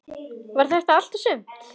Var þetta allt og sumt?